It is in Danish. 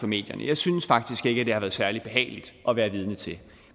medierne jeg synes faktisk ikke at det har været særlig behageligt at være vidne til